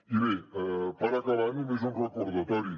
i bé per acabar només un recordatori